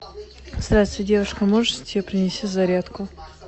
здравствуйте девушка можете принести зарядку